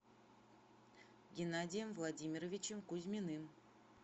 геннадием владимировичем кузьминым